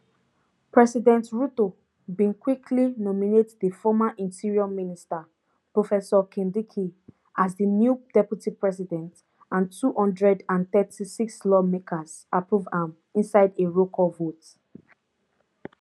president ruto bin quickly nominate di former interior minister professor kindiki as di new deputy president and two hundred and thirty-six lawmakers approve am inside a rollcall vote